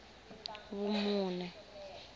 vumune